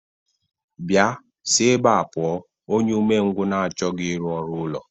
Bịa, si ebea pụọ, onye umengwụ na-achọghị ịrụ ọrụ ụlọ!